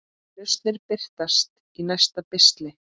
Lausnir birtast í næsta pistli.